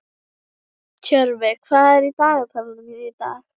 Tjörvi, hvað er í dagatalinu mínu í dag?